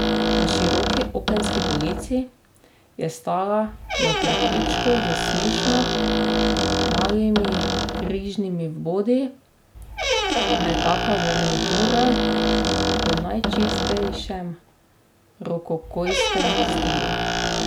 Na široki okenski polici je stala na prtičku s smešno malimi križnimi vbodi nekaka garnitura v najčistejšem rokokojskem stilu.